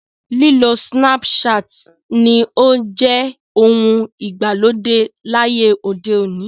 Lílo Snapchat ni ó ń jẹ ohun ìgbàlódé láyé òde òní.